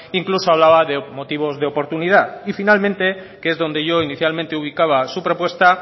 incluso hablaba de motivos de oportunidad y finalmente que es donde yo inicialmente ubicaba su propuesta